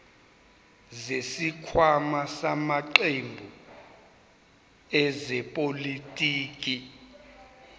zesikhwama samaqembu ezepolitiki